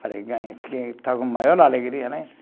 Está com maior alegria, né?